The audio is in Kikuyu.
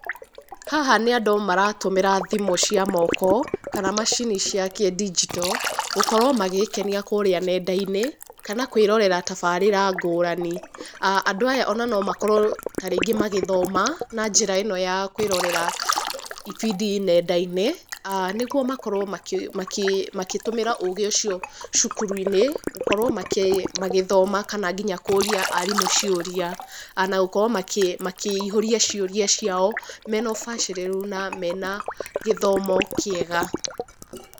Haha nĩ andũ maratũmĩra thimũ cia moko kana macini cia kĩ digital gũkorwo magĩĩkenia kũrĩa nenda-inĩ kana kũĩrorera tabarĩra ngũrani. Andũ aya ona nomakorwo tarĩngĩ magĩthoma na njĩra ĩno ya kwĩrorera ibindi nenda-inĩ nĩguo makorwo makĩtũmĩra ũgĩ ũcio cukuru-inĩ gũkorwo magĩthoma kana nginya kũria arimũ ciũria na gũkorwo makĩihũria ciũria ciao mena ũbacĩrĩru na mena gĩthomo kĩega.